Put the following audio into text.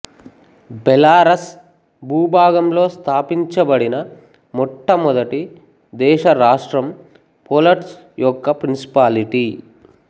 Belarus భూభాగంలో స్థాపించబడిన మొట్టమొదటి దేశ రాష్ట్రం పోలట్స్క్ యొక్క ప్రిన్సిపాలిటీ